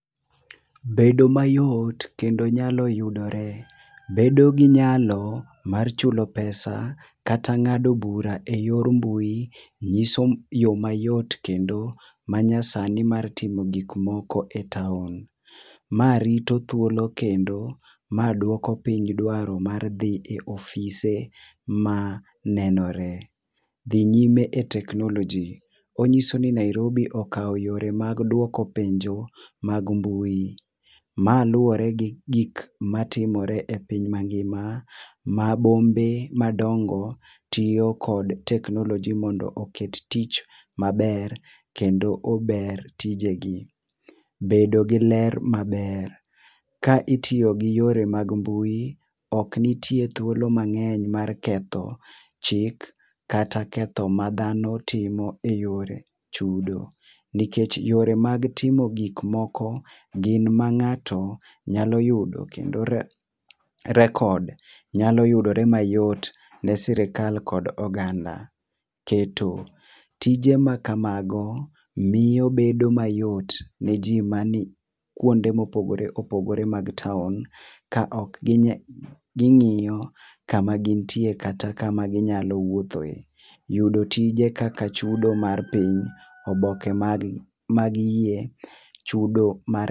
Bedo mayot kendo nyalo yudore , bedo gi nyalo9mar chulo pesa kata ngado bura e yor mbui ng'iso yo ma yot kendo ma nyasani mar timo gik moko e town. Ma rito thuolo kendo ma dwoko piny mar dhi e ofise ma nenore. Dhi nyime e tekmnoloji, ongiso ni nairibi okao yore mag dwoko penjo mag mbui, ma luore gi gik ma timore e piny ma ngima ma bombe ma dongo tiyo kod teknoloji mondo oket tich ma ber kendo ober tije gi. Bedo gi ler ma ber, ka itiyo gi yore mag mbui ok nitie thuolo mang'eny mar ketho chik kata ketho ma dhano timo e yor chudo nikech yore mag timo gik moko gin ma ng'ato nyalo yudo kendo record nyalo yudore mayot ne sirkal kod oganda. Keto tije ma ka mago miyo bedo ma yot ne ji ma ni kuonde ma opogore opogore mar town ka ok gi ng'iyo ka ma gin tie kata ka ma gi nya wuotho e.Yudo tije kaka chudo mag piny, oboke mag mag yie chudo mar.